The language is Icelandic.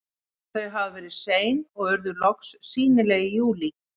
Þau hafa verið sein og urðu loks sýnileg í júlí.